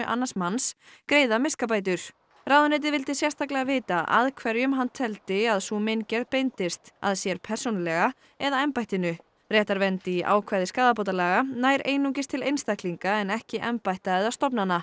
annars manns greiða miskabætur ráðuneytið vildi sérstaklega vita að hverjum hann teldi að sú meingerð beindist að sér persónulega eða embættinu réttarvernd í ákvæði skaðabótalaga nær einungis til einstaklinga en ekki embætta eða stofnana